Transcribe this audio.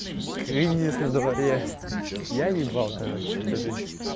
кризис на дворе я ебал короче эту жизнь